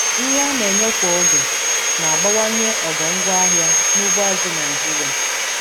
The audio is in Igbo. Nri a na-enye kwa oge na-abawanye ogo ngwaahịa n'ugbo azụ̀ Naịjiria.